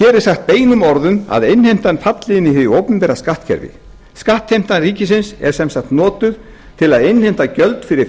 hér er sagt beinum orðum að innheimtan falli inn í hið opinbera skattkerfi skattheimta ríkisins er sem sagt notuð til að innheimta gjöld fyrir